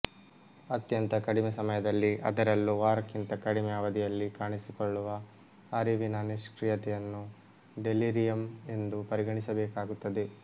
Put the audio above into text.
ಅತ್ಯಂತ ಕಡಿಮೆ ಸಮಯದಲ್ಲಿ ಅದರಲ್ಲೂ ವಾರಕ್ಕಿಂತ ಕಡಿಮೆ ಅವಧಿಯಲ್ಲಿ ಕಾಣಿಸಿಕೊಳ್ಳುವ ಅರಿವಿನ ನಿಷ್ಕ್ರೀಯತೆಯನ್ನು ಡೆಲಿರಿಯಂ ಎಂದು ಪರಿಗಣಿಸಬೇಕಾಗುತ್ತದೆ